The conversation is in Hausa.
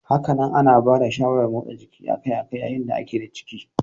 Hakanan ana bada shawarar motsa jiki akai-akai yayin da da a ke da ciki.